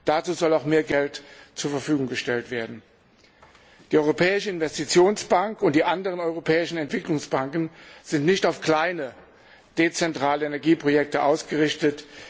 Dazu soll auch mehr Geld zur Verfügung gestellt werden. Die Europäische Investitionsbank und die anderen europäischen Entwicklungsbanken sind nicht auf kleine, dezentrale Energieprojekte ausgerichtet.